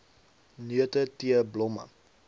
neute tee blomme